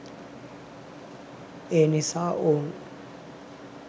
ඒනිසා ඔවුන්